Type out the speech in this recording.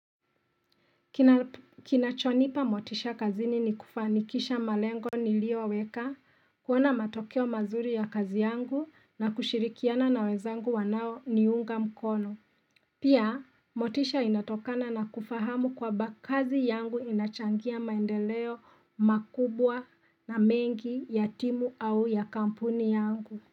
Kinachonipa motisha kazini ni kufanikisha malengo nilio weka, kuona matokeo mazuri ya kazi yangu na kushirikiana na wezangu wanao niunga mkono. Pia, motisha inatokana na kufahamu kwa bakazi yangu inachangia maendeleo makubwa na mengi ya timu au ya kampuni yangu.